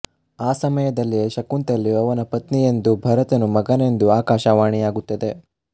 ಆ ಸಮಯದಲ್ಲೇ ಶಕುಂತಲೆಯು ಅವನ ಪತ್ನಿಯೆಂದೂ ಭರತನು ಮಗನೆಂದೂ ಆಕಾಶವಾಣಿಯಾಗುತ್ತದೆ